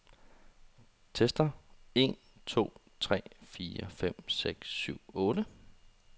Tester en to tre fire fem seks syv otte.